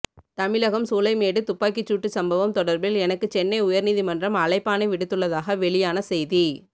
தமிழகம் சூளைமேடு துப்பாக்கிச்சூட்டு சம்பவம் தொடர்பில் எனக்கு சென்னை உயர்நீதிமன்றம் அழைப்பாணை விடுத்துள்ளதாக வெளியான செய்தி